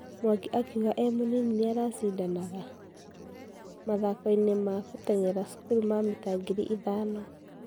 Mwangi akĩũga e mũnini nĩ ara shidanaga?? mathako-ĩnĩ ma gũteng'era cũkuru ma mita ngiri ithano.